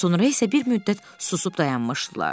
Sonra isə bir müddət susub dayanmışdılar.